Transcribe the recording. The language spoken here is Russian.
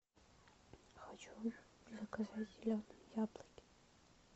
хочу заказать зеленые яблоки